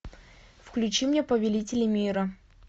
включи мне повелители мира